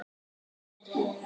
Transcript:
Ég er héðan